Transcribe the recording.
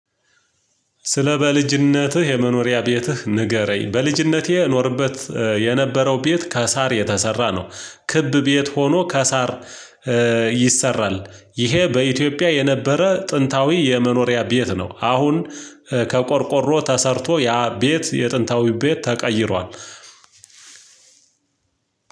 ስለ በልጅነትህ የመኖሪያ ቤትህ ንገረኝ? በልጅነቴ የኖርበት የነበረው ቤት ከሳር የተሰራ ነው ክብ ቤት ሆኖ ከሳር ይሰራል ይሄ በኢትዮጵያ የነበረ ጥንታዊ የመኖሪያ ቤት ነው። አሁን ከቆርቆሮ ተሰርቶ ያ ቤት የጥንታዊ ቤት ተቀይሯል።